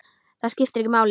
Það skiptir ekki máli.